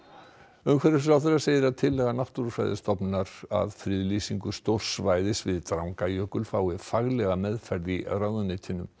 umhverfisráðherra segir að tillaga Náttúrufræðistofnunar að friðlýsingu stórs svæðis við Drangajökul fái faglega meðferð í ráðuneytinu